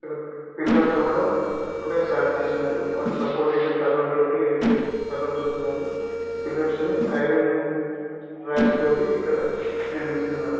ఇక్కడ పిల్లర్స్ కూడా ఇప్పుడే స్టార్ట్ చేసినారు. వాటి సపోర్టింగ్ గా కర్రలతోటి ఏర్పాటు చేసినారు పిల్లర్స్ ని ఐరన్ రాక్స్ తోటి ఇక్కడ నిర్మిస్తున్నారు.